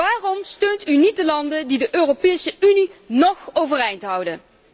Waarom steunt u niet de landen die de Europese Unie nog overeind houden?